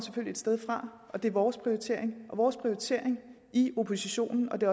et sted fra og det er vores prioritering vores prioritering i oppositionen og det